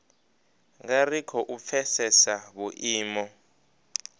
nga ri khou pfesesa vhuimo